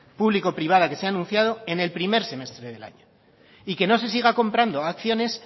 público privada que se ha anunciado en el primer semestre del año y que no se siga comprando acciones